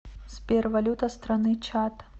сбер валюта страны чад